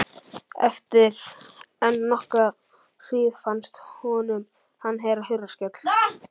Eftir enn nokkra hríð fannst honum hann heyra hurðarskell.